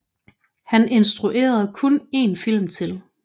Han instruerede kun en film til